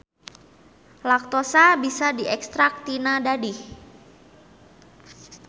Laktosa bisa diekstrak tina dadih.